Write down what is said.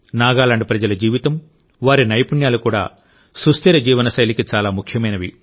నాగాలాండ్ ప్రజల జీవితం వారి నైపుణ్యాలు కూడా సుస్థిర జీవన శైలికి చాలా ముఖ్యమైనవి